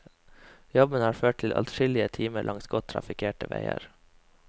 Jobben har ført til adskillige timer langs godt trafikkerte veier.